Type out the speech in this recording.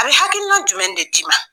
A bɛ hakilina jumɛn de d'i ma